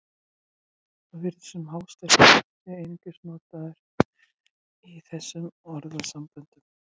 Svo virðist sem hástertur sé einungis notað í þessum orðasamböndum.